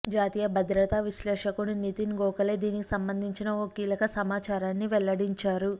జాతీయ భద్రతా విశ్లేషకుడు నితిన్ గోఖలే దీనికి సంబంధించిన ఓ కీలక సమాచారాన్ని వెల్లడించారు